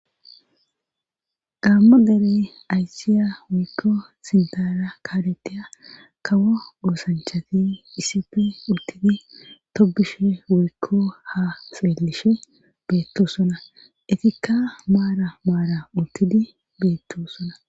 gaammo derey aysiya woykko sintara kaaleteya kawo goosanchati isife uttidi tobishe woykko ha seellishe beettosona etikka maara maara uttidi beettosona